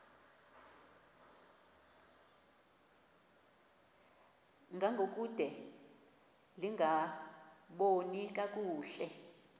ngangokude lingaboni kakuhle